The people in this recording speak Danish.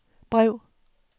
brev